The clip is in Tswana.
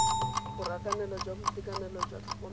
borakanelo jwa boitekanelo jwa tlhokomelo